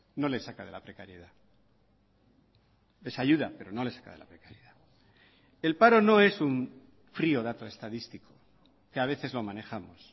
no les saca de la precariedad les ayuda pero no les saca de la precariedad el paro no es un frío dato estadístico que a veces lo manejamos